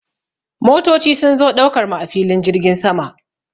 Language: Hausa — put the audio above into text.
Motoci sun zo ɗaukar mu a filin jirgin sama.